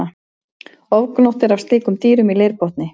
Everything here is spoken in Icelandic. Ofgnótt er af slíkum dýrum í leirbotni.